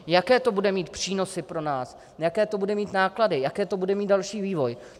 Jaké to bude mít přínosy pro nás, jaké to bude mít náklady, jaký to bude mít další vývoj?